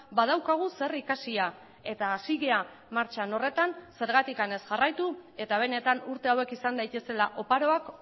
badaukagu zer ikasia eta hasi gara martxan horretan zergatik ez jarraitu eta benetan urte hauek izan daitezela oparoak